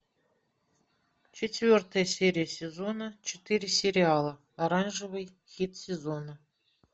четвертая серия сезона четыре сериала оранжевый хит сезона